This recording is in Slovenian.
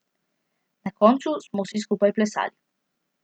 Na koncu smo vsi skupaj plesali.